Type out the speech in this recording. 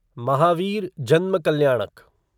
महावीर जन्म कल्याणक